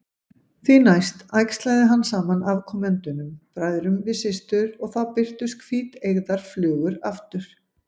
Því næst æxlaði hann saman afkomendunum, bræðrum við systur, og þá birtust hvíteygðar flugur aftur.